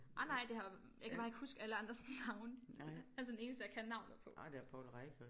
Nej nej det har jeg kan bare ikke huske alle andres navne altså den eneste jeg kan navnet på